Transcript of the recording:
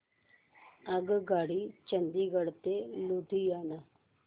आगगाडी चंदिगड ते लुधियाना